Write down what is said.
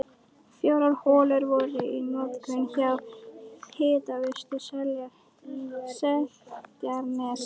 Fjórar holur voru í notkun hjá Hitaveitu Seltjarnarness.